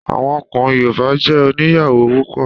Àwọn ọkùnrin Yorùbá jé oníyàwó púpọ̀